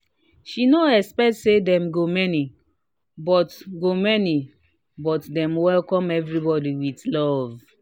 she no expect say dem go many but go many but dem welcome everybody with love